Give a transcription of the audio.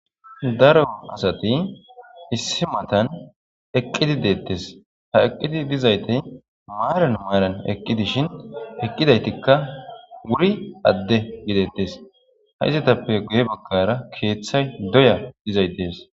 daro asati issi matan eqqidi deettes ha eqqidi dizaytey maaran maaran eqqi dishin eqqidaytikka wuri adde gidettes ha izatappe guye bakkara keeththay doya dizay dees